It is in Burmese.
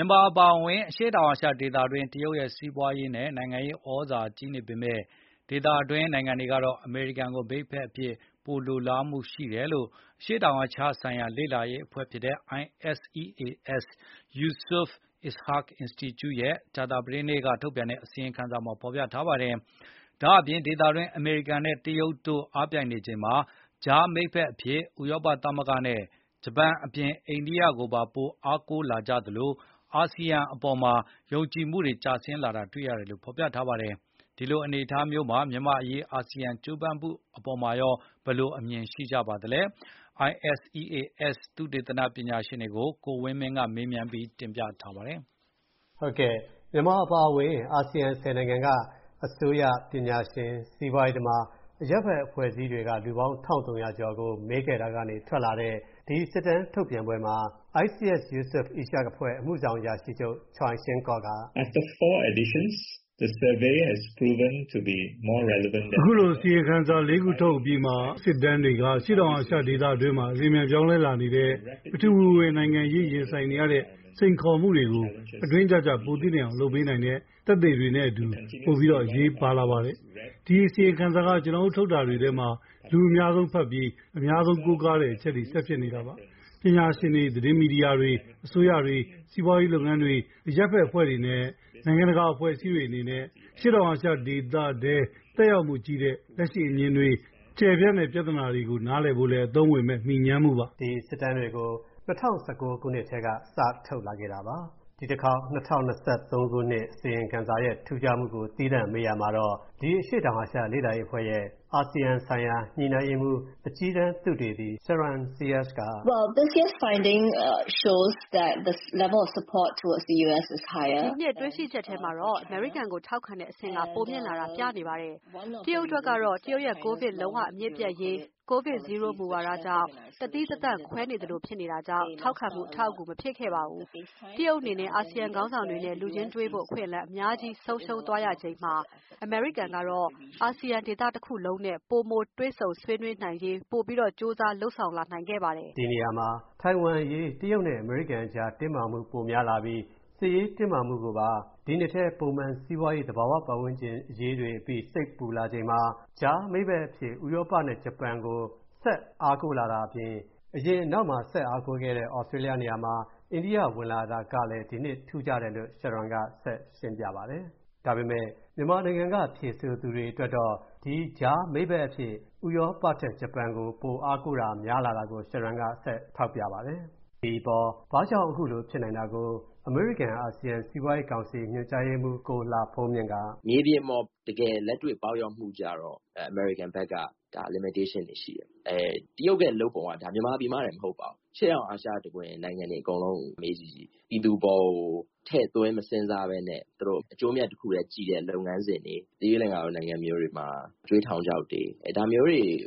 ြန်မာအပါအဝင် အရှေ့တာင်အာရှဒေသတွင်း တရုတ်ရဲ့ စီးပွါးရေးနဲ့ နိုင်ငံရေးသြဇာကြီးနေပေမဲ့ ဒေသတွင်းနိုင်ငံတွေကတော့ အမေရိကန်ကို မိတ်ဖက်အဖြစ် ပိုလိုလားမူရှိတယ်လို့ အရှေ့တောင်အာရှဆိုင်ရာ လေ့လာရေးအဖွဲ့ - ISEAS Yusof Ishak အင်စတီကျုရဲ့ ကြာသပတေးနေ့ ထုတ်ပြန်တဲ့ အစီရင်ခံစာမှာ ဖေါ်ပြထားပါတယ်။ ဒါ့အပြင် ဒေသတွင်း အမေရိကန်နဲ့တရုတ်တို့ အားပြိုင်နေချိန်မှာ ကြားမိတ်ဘက်အဖြစ် ဥရောပသမဂ္ဂနဲ့ ဂျပန်အပြင် အိန္ဒိယကိုပါ ပို အားကိုးလာကြသလို အာဆီယံအပေါ်မှာတော့ ယုံကြည်မှုတွေ ကျဆင်းလာတာ တွေ့ရတယ်လို့ ဖေါ်ပြထားပါတယ်။ ဒီအနေအထားမျိုးမှာ မြန်မာ့အရေး အာဆီယံကြိုးပမ်းမှုအပေါ်မှာရော ဘယ်လိုမြင်ကြပါသလဲ။ ISEAS သုတေသန ပညာရှင်တွေကို ကိုဝင်းမင်းက မေးမြန်းတင်ပြထားပါတယ်။ မြန်မာအပါအဝင် အာဆီယံ(၁၀)နိုင်ငံက အစိုးရ ပညာရှင် စီးပွားရေးသမား အရပ်ဖက်အဖွဲ့အစည်းတွေက လူပေါင်း(၁၃၀၀)ကျော်ကို မေးမြန်း စစ်တမ်းကောက်ယူထားတဲ့ ဒီစစ်တမ်း ထုတ်ပြန်ပွဲမှာ ISEAS Yusof Ishak အဖွဲ့ အမှုဆောင်အရာရှိချုပ် Choi Shing Kwok က- “အခုလို အစီရင်ခံစာ ၄ ခုထုတ်အပြီးမှာ အခုစစ်တမ်းတွေက အရှေ.တောင်အာရှဒေသတွင်းမှာ အလျှင်အမြန်ပြောင်းလဲလာနေတဲ့ ပထဝီနိုင်ငံရေးနဲ့ ရင်ဆိုင်နေရတဲ့ စိန်ခေါ်မှုတွေကို အတွင်းကျကျပိုသိနိုင်အောင်လုပ်ပေးနိုင်တဲ့ သက်သေတွေနဲ့အတူ၊ ပိုပြီး အရေးပါလာပါတယ်။ ဒီ အစီရင်ခံစာက ကျွန်တော်တို့ထုတ်တာတွေထဲ လူအများဆုံးဖတ်ပြီး အများဆုံးကိုကားတဲ့ အချက်တွေဆက်ဖြစ်နေမှာပါ။ ပညာရှင်တွေ၊ သတင်းမီဒီယာတွေ၊ အစိုးရတွေ၊ စီးပွားရေးလုပ်ငန်းတွေ၊ အရပ်ဘက်အဖွဲ့တွေနဲ့ နိုင်ငံတကာအဖွဲ့အစည်းတွေအနေနဲ့ အရှေ.တောာင်အာရှ ဒေသထဲသက်ရောက်မှုကြီးတဲ့ လက်ရှိ အမြင်တွေ၊ ကျယ်ပြန့်တဲ့ ပြဿနာတွေကို နားလည်ဖို့လည်း အသုံးဝင်မဲ့ မှီငြမ်းမှုပါ။” ဒီစစ်တမ်းတွေကို ၂၀၁၉ ခုနှစ်ကတည်းက စထုတ်လာခဲ့တာပါ။ အခု ၂၀၂၃ ခုနှစ် အစီရင်ခံစာရဲ့ထူးခြားမှုကို သီးသန့်မေးရာမှာတော့ ISEAS အဖွဲ့ရဲ့ အာဆီယံဆိုင်ရာ ညှိနှိုင်းရေးမှူး အကြီးတန်းသုတေသီ Sharon Seah ပြောတာက - “ဒီနှစ် တွေ့ရှိချက်ထဲမှာတော့ အမေရိကန်ကို ထောက်ခံတဲ့အဆင့်က ပိုမြင့်လာတာ ပြနေပါတယ်။ တရုတ်အတွက်ကတော့ တရုတ်ရဲ့ ကိုဗစ် လုံးဝအမြစ်ပြတ်ရေး COVID ZERO မူဝါဒကြောင့် တသီးတသန့်ခွဲနေသလိုဖြစ်တာကြောင့် ထောက်ခံမှု အထောက်အကူ မဖြစ်ခဲ့ပါဘူး။ တရုတ်အနေနဲ့ အာဆီယံခေါင်းဆောင်တွေနဲ့ လူချင်းတွေ့ဖို့ အခွင့်အလမ်း အများကြီး ဆုံးရှုံးသွားရချိန်မှာ၊ အမေရိကန်ကတော့ အာဆီယံ ဒေသ တခုလုံးနဲ့ ပိုတွေ့ဆုံဆွေးနွေးရေးတွေ ပိုကြိုးစားလုပ်ဆောင်လာနိုင်ခဲ့ပါတယ်။ ” ဒီနေရာမှာ တိုင်ဝမ်အရေး တရုတ်နဲ့အမေရိကန်တို့ တင်းမာမှု ပိုများလာပြီး စစ်ရေးအရပါ တင်းမာလာချိန်မှာ ကြားမိတ်ဖက်အဖြစ် ဥရောပနဲ့ ဂျပန်ကို အားကိုလာကြတာအပြင် ၊ အရင်တုန်းက အားကိုးနေကျ သြစတြေးလျအပြင် အိန္ဒိယ ဝင်လာတာကလည်း ဒီနှစ်အတွက် ထူးခြား တယ်လို့ Sharon ကရှင်းပြပါတယ်။ ဒါပေမဲ့ ဒီ စစ်တမ်းကို မြန်မာနိုင်ငံကနေ ဖြေဆိုသူတွေကတော့ ကြားမိတ်ဖက်ထဲက ဥရောပထက် ဂျပန်အပေါ် ပိုအားကိုးချင်တာ တွေ့ရကြောင်း Sharon က ထောက်ပြပါတယ်။ ဘာ့ကြောင့် အခုလို ဖြစ်နိုင်သလဲဆိုတာကိုတော့ အမေရိကန်-အာဆီယံ စီးပွားရေးကောင်စီ ညွှန်ကြားရေးမှူး ကိုလှဘုန်းမြင့် က - “ မြေပြင်မှာ တကယ်လက်တွေ့ ပေါက်ရောက်မှုမှာ အမေရိကန်အတွက်ကျတော့ အကန့်အသတ်တွေ ရှိတယ်။ တရုတ်ရဲ့လုပ်ပုံကျတော့ မြန်မာပြည်မှတင် မဟုတ်ပါဘူး။ အရှေ့တောင်အာရှတခွင် နိုင်ငံတွေအကုန်လုံးမှာ ပြည်သူတွေအပေါ်ကို ထည့်သွင်းစဉ်းစားလေ့ မရှိပါဘူး။ သူတို့ အကျိုးအမြတ်တခုထဲကြည့်တဲ့ လုပ်ငန်းစဉ်တွေဆိုရင် သီရိလင်္ကာနိုင်ငံမျိုးမှာ အကြွေးထောင်ချောက်ကြုံနေရတဲ့ ဖြစ်စဉ်